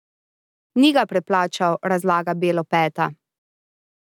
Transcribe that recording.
Ni ga preplačal, razlaga Belopeta.